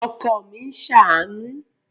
Ọkọ mi ń ṣàánú